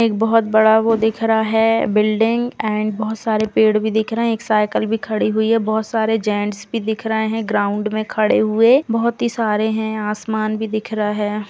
एक बोहोत बड़ा वो दिख रहा है बिल्डिंग एंड बोहोत सारे पेड़ भी दिख रहे हैं। एक साइकिल भी खड़ी हुई है। बोहोत सारे जैंट्स भी दिख रहे हैं ग्राउंड में खड़े हुए। बोहोत ही सारे हैं। आसमान भी दिख रहा है।